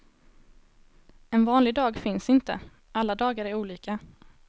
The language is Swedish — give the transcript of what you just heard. En vanlig dag finns inte, alla dagar är olika.